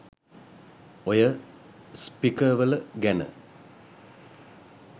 ඔය .. .ස්පිකර්වල . ගැන.